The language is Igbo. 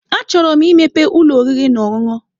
Achọrọ m imepe ụlọ oriri na ọṅụṅụ.